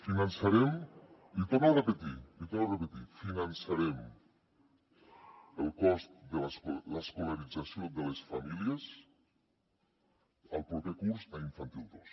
l’hi torno a repetir l’hi torno a repetir finançarem el cost de l’escolarització de les famílies el proper curs a infantil dos